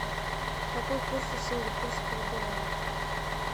какой курс у сингапурского доллара